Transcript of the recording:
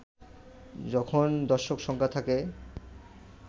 যখন দর্শক সংখ্যা থাকে